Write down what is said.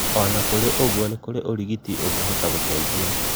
ona kũrĩ ũguo, nĩ kũrĩ ũrigiti ũngĩhota gũteithia